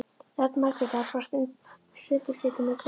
Rödd Margrétar barst sundurslitin með golunni.